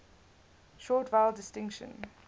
short vowel distinction